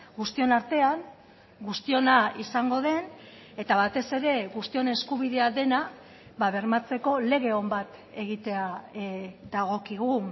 guztion artean guztiona izango den eta batez ere guztion eskubidea dena bermatzeko lege on bat egitea dagokigu